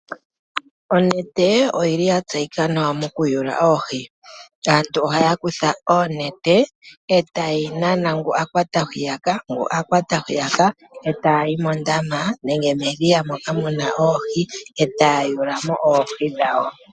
Onete oyi li ya tseyika nawa mokuyula oohi. Aantu ohaya kutha onete e taye yi nana ngu a kwata hwiyaka ngu a kwata hwiyaka e taya yi mondama nenge medhiya moka mu na oohi e taya yulu mo oohi dhawo.